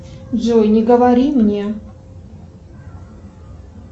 джой не говори мне